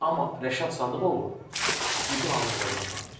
Amma Rəşad Sadıqovu bütün Azərbaycan tanıyır.